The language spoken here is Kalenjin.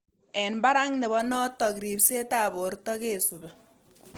Eng barak nebo notok ripsetab borto kesubi